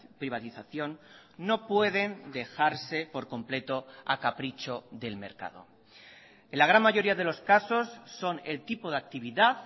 privatización no pueden dejarse por completo a capricho del mercado en la gran mayoría de los casos son el tipo de actividad